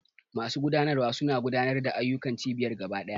Masu gudanarwa suna gudanar da ayyukan cibiyar gaba ɗaya.